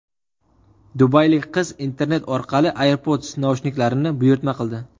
Dubaylik qiz internet orqali AirPods naushniklarini buyurtma qildi.